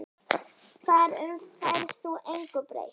Þar um færð þú engu breytt.